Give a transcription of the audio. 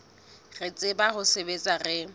re tsebang ho sebetsa re